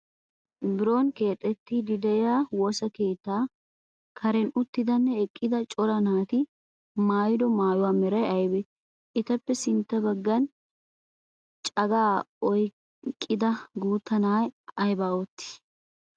Biron keexxettiidi de'iyaa woosa keettaa karen uttidanne eqqida cora naati maayido maayuwaa meray aybee? Etappe sintta baggan cagaa oyqqida guutta na'ay aybaa oottii?